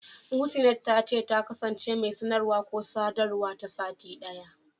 Muhsinat ta ce, ta kasance mai sanarwa/sadawa ta sati ɗaya.